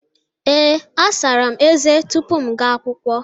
Ee, asara m eze tupu m ga akwụkwọ.